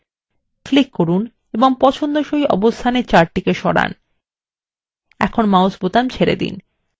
click করুন এবং পছন্দসই অবস্থানে chart সরান এখন mouse বোতাম ছেরে দিন